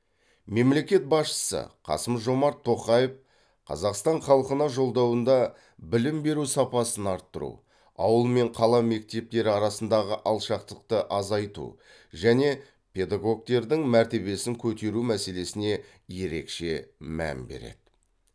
мемлекет басшысы қасым жомарт тоқаев қазақстан халқына жолдауында білім беру сапасын арттыру ауыл мен қала мектептері арасындағы алшақтықты азайту және педагогтердің мәртебесін көтеру мәселесіне ерекше мән береді